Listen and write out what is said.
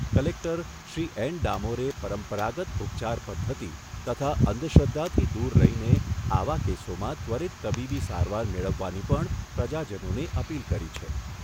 Collector Shri N ડામોરે પરંપરાગત ઉપચાર પદ્ધતિ તથા અંધશ્રધ્ધાથી દૂર રહીને આવા કેસોમાં ત્વરિત તબીબી સારવાર મેળવવાની પણ પ્રજાજનોને અપીલ કરી છે.